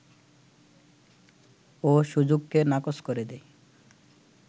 ও সুযোগকে নাকচ করে দেয়